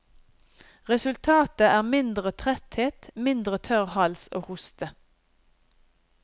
Resultatet er mindre tretthet, mindre tørr hals og hoste.